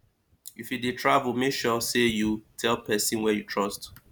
if you dey travel make sure say you tell person wey you trust